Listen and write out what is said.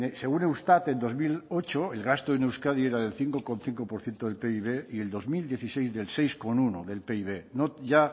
según eustat en dos mil ocho el gasto en euskadi era del cinco por ciento del pib y en dos mil dieciséis de seis coma uno del pib no ya